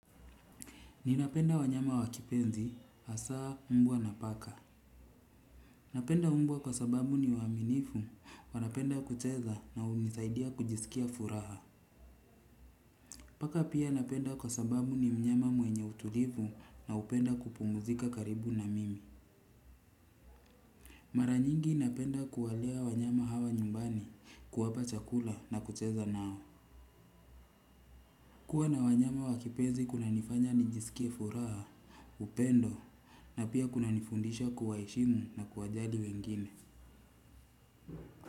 Ninapenda wanyama wa kipenzi, hasaa mbwa na paka. Napenda mbwa kwa sababu ni waaminifu, wanapenda kucheza na unisaidia kujisikia furaha. Paka pia napenda kwa sababu ni mnyama mwenye utulivu na upenda kupumuzika karibu na mimi. Mara nyingi napenda kuwalea wanyama hawa nyumbani, kuwapa chakula na kucheza nao. Kwa na wanyama wa kipenzi kunanifanya nijisikie furaha, upendo na pia kunanifundisha kuwaheshimu na kuwajali wengine.